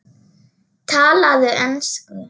Talaðu ensku!